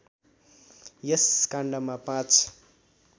यस काण्डमा ५